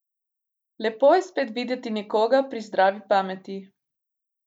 Lepo je spet videti nekoga pri zdravi pameti.